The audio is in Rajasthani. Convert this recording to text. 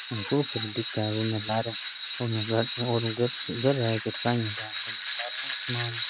कॉफ सी दिखे है उनने लारे उनने नीलो आसमान --